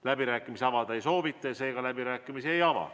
Läbirääkimisi avada ei soovita, seega me läbirääkimisi ei ava.